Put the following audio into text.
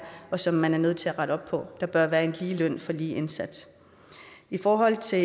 som man er nødt til at rette op på der bør være en lige løn for lige indsats i forhold til